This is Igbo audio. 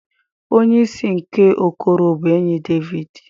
Onye isi nke okoro bụ enyi Devid.